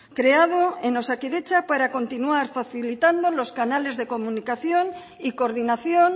creado en osakidetza para continuar facilitando los canales de comunicación y coordinación